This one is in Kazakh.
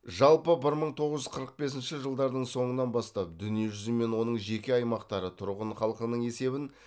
жалпы бір мың тоғыз жүз қырық бесінші жылдардың соңынан бастап дүние жүзі мен оның жеке аймақтары тұрғын халқының есебін